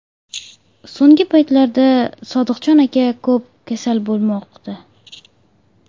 So‘nggi paytlarda Sodiqjon aka ko‘p kasal bo‘lmoqda.